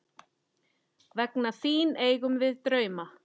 Vegna þín eigum við drauma.